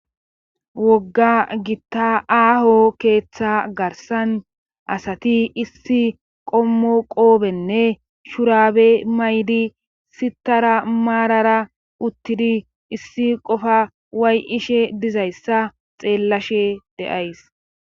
wogga gitta aaho keeththa garsan asati issi qommo qoobenne shurabe maydi sitara maarara uttidi issi qofa way7ishe dizayssa xeellashe de7ays.